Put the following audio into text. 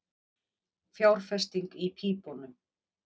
Fjárfesting í pípunum